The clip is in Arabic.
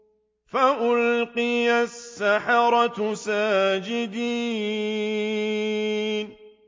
فَأُلْقِيَ السَّحَرَةُ سَاجِدِينَ